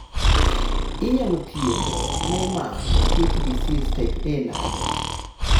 inyalo thiedh Niemann Pick disease type A nade?